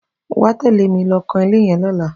Wà á tẹ̀lé mi lọ kan ilé yẹn lọ́la